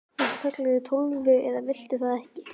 Viltu kalla þig Tólfu eða viltu það ekki?